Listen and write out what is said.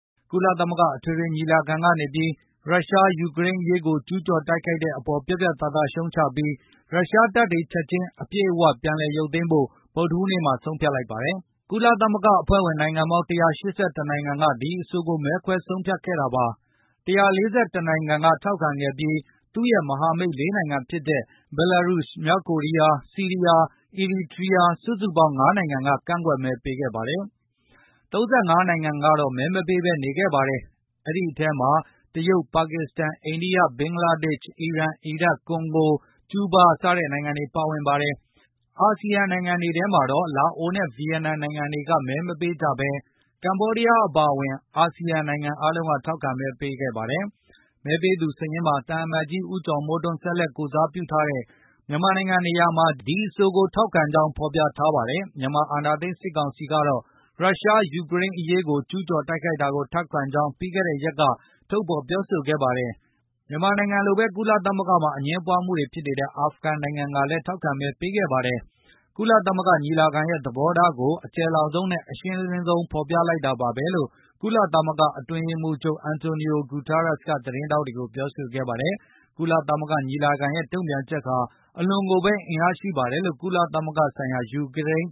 ကုလသမဂ္ဂအထွေထွေညီလာခံကနေပြီး ရုရှားက ယူကရိန်းကိုကျူးကျော် တိုက်ခိုက်တဲ့ အပေါ်ပြတ်ပြတ်သားသားရုတ်ချလိုက်ပြီး၊ ရုရှားတပ်တွေချက်ခြင်း အပြည့်အဝပြန်လည်ရုတ်သိမ်းဖို့ ဗုဒ္ဓဟူးနေ့မှာဆုံးဖြတ်ကြေညာခဲ့ပါတယ်။ ကုလသမဂ္ဂအဖွဲ့ဝင်နိုင်ငံပေါင်း ၁၈၁ နိုင်ငံက ဒီအဆိုကိုမဲခွဲဆုံးဖြတ်ခဲ့တာပါ။ ၁၄၁ နိုင်ငံက ထောက်ခံခဲ့ပြီး၊ ရုရှားနဲ့ သူ့ရဲ့မဟာမိတ် ၄ နိုင်ငံဖြစ်ကြတဲ့ ဘဲလာရုစ် ၊ မြောက်ကိုရီးယား၊ ဆီးရီးယား၊ အီရီတြီယားစုစုပေါင်း ၅ နိုင်ငံကသာ ကန့်ကွက်မဲပေးခဲ့ပါတယ်။ ၃၅ နိုင်ငံကတော့ မဲမပေးဘဲနေခဲ့ပါတယ်။ အဲဒီအထဲ မှာ တရုတ်၊ ပါကစ္စတန်၊ အိန္ဒိယ၊ ဘင်္ဂလားဒေ့ရှ်၊ အီရန်၊ အီရတ်၊ ကွန်ဂိုစတဲ့နိုင်ငံတွေ ပါဝင်ပါတယ်။ အစီယံနိုင်ငံတွေထဲမှာတော့ လာအိုနဲ့ ဗီယက်နမ်နိုင်ငံတွေက မဲမပေးကြဘဲ ကမ္ဘောဒီးယားအပါအဝင် အာဆီယံနိုင်ငံတွေကထောက်ခံမဲ ပေးခဲ့ကြပါတယ်။ မဲပေးသူများစာရင်းမှာ သံအမတ်ကြီး ဦးကျော်မိုးထွန်းဆက်လက်ကိုယ်စားပြု ထားတဲ့မြန်မာနိုင်ငံနေရာမှာတော့ ဒီအဆိုကိုထောက်ခံကြောင်းဖေါ်ပြထားပါတယ်။ မြန်မာအာဏာသိမ်းစစ်ကောင်စီကတော့ ရုရှားကယူကရိန်းကိုကျူး ကျော်တိုက်ခိုက်တာကိုထောက်ခံကြောင်း ပြီးခဲ့တဲ့ရက်က ထုတ်ဖေါ်ပြောဆိုခဲ့ပါတယ်။ မြန်မာနိုင်ငံလိုဘဲ ကုလသမဂ္ဂမှာ အငြင်းပွားမှုတွေဖြစ်နေတဲ့ အာဖဂန်နိုင်ငံက လည်းထောက်ခံမဲပေးခဲ့ပါတယ်။ ကုလသမဂ္ဂညီလာခံရဲ့ သဘောထားကို အကျယ်လောင်ဆုံးနဲ့ အရှင်းလင်း ဆုံးဖေါ်ပြလိုက်တာပါဘဲလို့ ကုလသမဂ္ဂအတွင်းရေးမှုးချုပ် Antonio Guterres က သတင်းထောက်တွေကိုပြောဆိုခဲ့ပါတယ်။ ကုလသမဂ္ဂညီလာခံရဲ့တုံပြန်ချက်ဟာ အလွန်ကိုဘဲ အင်အားရှိပါတယ် လို့ ကုလဆိုင်ရာ ယူကရိန်း